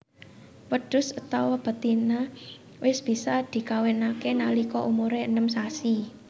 Wedhus étawa betina wis bisa dikawinake nalika umure enem sasi